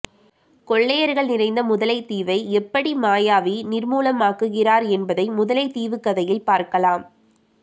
கொள்ளையர்கள் நிறைந்த முதலை தீவை எப்படி மாயாவி நிர்மூலமாகுகிறார் என்பதை முதலை தீவு கதையில் பார்க்கலாம்